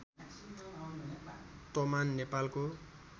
तमान नेपालको